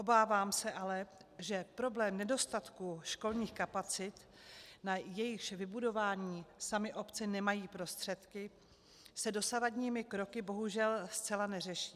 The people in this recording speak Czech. Obávám se ale, že problém nedostatku školních kapacit, na jejichž vybudování samy obce nemají prostředky, se dosavadními kroky bohužel zcela neřeší.